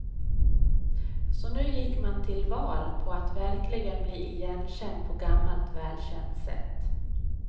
Så nu gick man till val på att verkligen bli igenkänd på gammalt välkänt sätt.